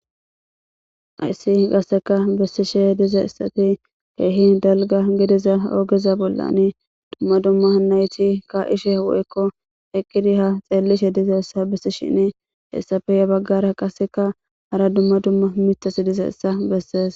Ayssi gasseka bessishe diza issati keehi dalga gidiza oogeza bollan dumma dumma nayti ka ishe woykko eqqidi ha xeellishe diza essa bessi shin hessafeya baggara qasseka hara dumma dumma mitasi diza essa bessees.